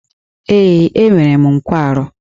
Ee, enwere m nkwarụ.